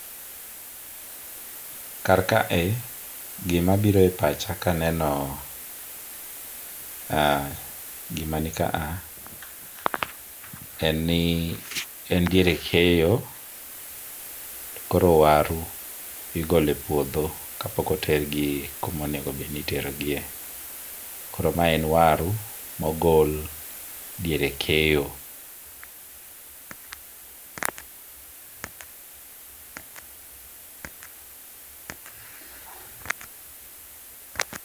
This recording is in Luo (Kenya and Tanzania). Kar kae gima biro e pacha kaneno eh, gima nikaa, en ni en diere keyo to koro waru igolo e puodho kapok otergi kuma onego obed ni iterogie. Koro mae en waru mogol diere keyo.